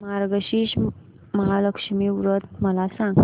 मार्गशीर्ष महालक्ष्मी व्रत मला सांग